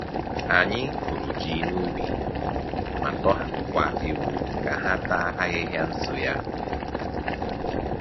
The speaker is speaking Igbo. Anyị kụrụ ji n’ubi ma tọhapụkwa ewu ka ha taa ahịhịa nso ya.